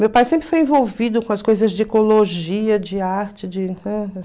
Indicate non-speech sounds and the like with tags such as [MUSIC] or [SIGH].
Meu pai sempre foi envolvido com as coisas de ecologia, de arte, de [UNINTELLIGIBLE]